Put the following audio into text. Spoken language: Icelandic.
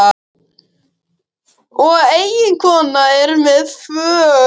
Og eiginkonan er með í för.